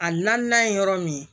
A naaninan ye yɔrɔ min ye